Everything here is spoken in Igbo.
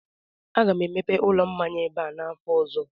aga m emepe ụlọ mmanya ebe a n'afọ ọzọ